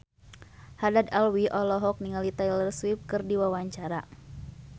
Haddad Alwi olohok ningali Taylor Swift keur diwawancara